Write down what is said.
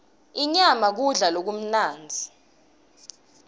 inyama kudla lokumnandzi